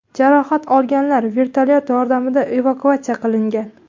Jarohat olganlar vertolyot yordamida evakuatsiya qilingan.